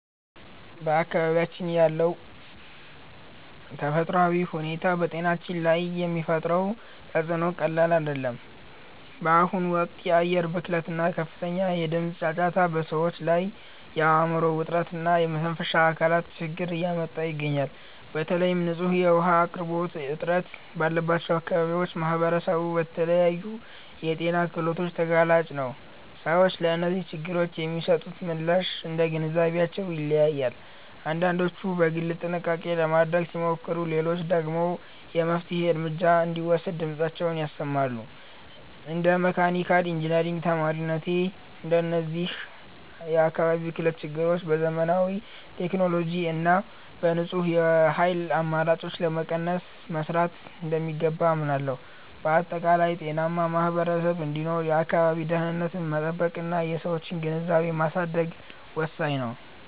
በአካባቢያችን ያለው ተፈጥሯዊ ሁኔታ በጤናችን ላይ የሚፈጥረው ተፅዕኖ ቀላል አይደለም። በአሁኑ ወቅት የአየር ብክለት እና ከፍተኛ የድምፅ ጫጫታ በሰዎች ላይ የአእምሮ ውጥረት እና የመተንፈሻ አካላት ችግር እያመጣ ይገኛል። በተለይም ንጹህ የውኃ አቅርቦት እጥረት ባለባቸው አካባቢዎች ማኅበረሰቡ ለተለያዩ የጤና እክሎች ተጋላጭ ነው። ሰዎች ለእነዚህ ችግሮች የሚሰጡት ምላሽ እንደየግንዛቤያቸው ይለያያል፤ አንዳንዶች በግል ጥንቃቄ ለማድረግ ሲሞክሩ፣ ሌሎች ደግሞ የመፍትሔ እርምጃ እንዲወሰድ ድምፃቸውን ያሰማሉ። እንደ መካኒካል ኢንጂነሪንግ ተማሪነቴ፣ እነዚህን የአካባቢ ብክለት ችግሮች በዘመናዊ ቴክኖሎጂ እና በንጹህ የኃይል አማራጮች ለመቀነስ መሥራት እንደሚገባ አምናለሁ። በአጠቃላይ፣ ጤናማ ማኅበረሰብ እንዲኖር የአካባቢን ደኅንነት መጠበቅና የሰዎችን ግንዛቤ ማሳደግ ወሳኝ ነው።